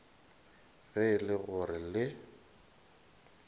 ge e le gore le